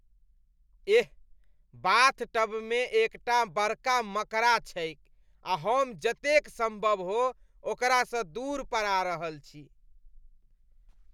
एह, बाथटबमे एकटा बड़का मकड़ा छैक आ हम जतेक सम्भव हो ओकरासँ दूर पड़ा रहल छी।